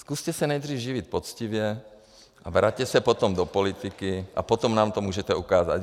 Zkuste se nejdřív živit poctivě a vraťte se potom do politiky, a potom nám to můžete ukázat.